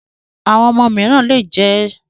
Àwọn ọmọ mìíràn lè jẹ d